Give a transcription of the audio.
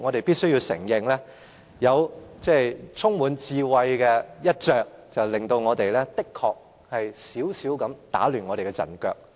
必須承認，前哨戰有這充滿智慧的一着，的確有少許打亂我們的陣腳。